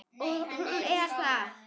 Og hún er þar.